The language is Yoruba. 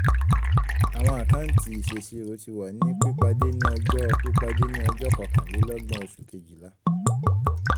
awọn àkáńtì ìṣèṣirò ti wa ni pípadé ní ọjọ́ pípadé ní ọjọ́ kọkànlélọ́gbọ̀n oṣù kejìlá